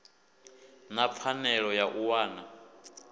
na pfanelo ya u wana